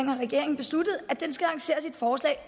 har regeringen besluttet at den skal lancere sit forslag